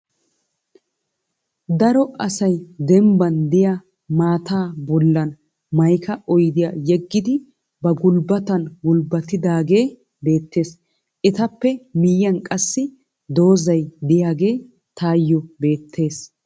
Daro asay dembban diya maataa bollan mayika oyidiya yeggidi ba gulbbatan gulbbatidaagee beettes. Etappe miyyiyan qassi dozzay diyage tayyo beettes.